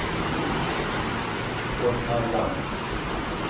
Gotthard Lantz